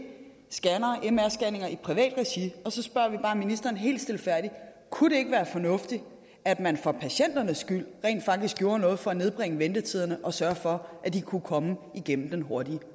mr scannere i privat regi og så spørger vi bare ministeren helt stilfærdigt kunne det ikke være fornuftigt at man for patienternes skyld rent faktisk gjorde noget for at nedbringe ventetiderne og sørge for at de kunne komme igennem den hurtige